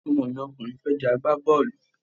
Ọmọ mi ọkùnrin fẹ́ di agbábọ́ọ̀lù